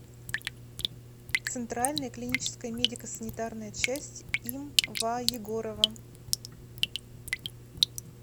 центральная клиническая медико санитарная часть им ва егорова